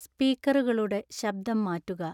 സ്പീക്കറുകളുടെ ശബ്ദം മാറ്റുക